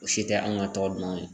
O si tɛ an ka tɔw dunnan ye.